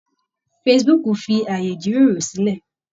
Facebook fi ààyè ìjíròrò sílẹ̀.